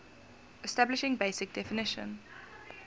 establishing basic definition